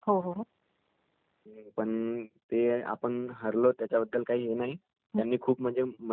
पण ते आपण हरलो, त्याच्याबद्दल हे काही नाही,,,,पण त्यांनी खूप म्हणजे खूप मेहनत केलेलं